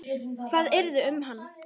Hvað yrði um hana?